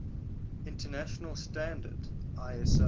international standard iso